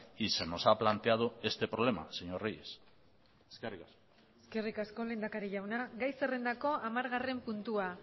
y se nos ha planteado este problema señor reyes eskerrik asko eskerrik asko lehendakari jauna gai zerrendako hamargarren puntua